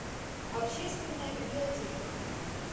общественная библиотека